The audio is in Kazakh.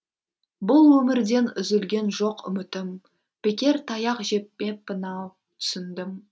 бұл өмірден үзілген жоқ үмітім бекер таяқ жеппеппін ау түсіндім